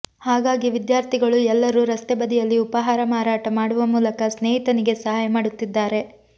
ಹಾಗಾಗಿ ವಿದ್ಯಾರ್ಥಿಗಳು ಎಲ್ಲರೂ ರಸ್ತೆಬದಿಯಲ್ಲಿ ಉಪಹಾರ ಮಾರಾಟ ಮಾಡುವ ಮೂಲಕ ಸ್ನೇಹಿತನಿಗೆ ಸಹಾಯ ಮಾಡುತ್ತಿದ್ದಾರೆ